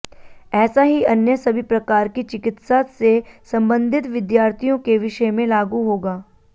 ऐसा ही अन्य सभी प्रकार की चिकित्सा से संबंधित विद्यार्थियों के विषय में लागू होगा